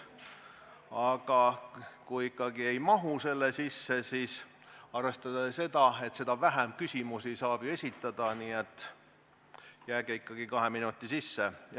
Aga kui ikkagi ei mahu selle sisse, siis arvestage seda, et seda vähem küsimusi saab ju esitada, nii et jääge ikkagi kahe minuti sisse.